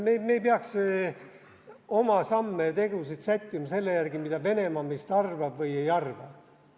Me ei peaks oma samme ja tegusid sättima selle järgi, mida Venemaa meist arvab või ei arva.